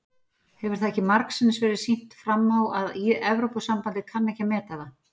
Hefur það ekki margsinnis verið sýnt fram á að Evrópusambandið kann ekki að meta það?